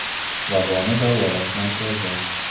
Vaboni davolash markazi.